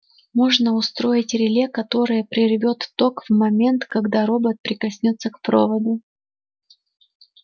можно устроить реле которое прервёт ток в тот момент когда робот прикоснётся к проводу